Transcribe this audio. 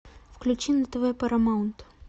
включи на тв парамаунт